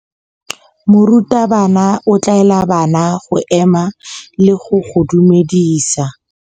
Morutabana o tla laela bana go ema le go go dumedisa.